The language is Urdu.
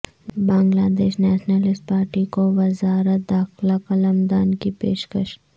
بنگلہ دیش نیشنلسٹ پارٹی کو وزارت داخلہ قلمدان کی پیشکش